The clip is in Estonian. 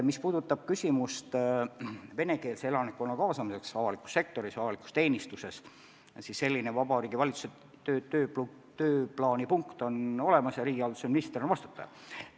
Mis puutub venekeelse elanikkonna kaasamisse avalikus sektoris, avalikus teenistuses, siis selline Vabariigi Valitsuse tööplaani punkt on olemas ja riigihalduse minister on vastutaja.